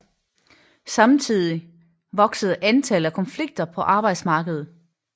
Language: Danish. Samtidig voksede antallet af konflikter på arbejdsmarkedet